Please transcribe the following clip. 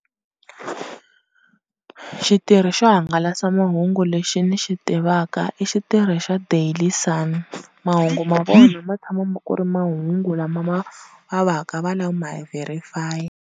Xitirhi xo hangalasa mahungu lexi ni xi tivaka i xitirhi xa Daily Sun. Mahungu ma vona ma tshama ma ku ri mahungu lama ma va va ka va ma verify.